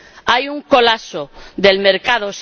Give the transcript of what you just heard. Hay un colapso del mercado.